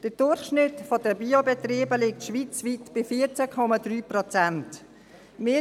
– Der Durchschnitt der Biolandbetriebe liegt schweizweit bei 14,3 Prozent.